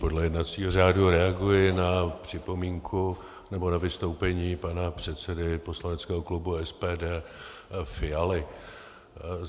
Podle jednacího řádu reaguji na připomínku, nebo na vystoupení pana předsedy poslaneckého klubu SPD Fialy.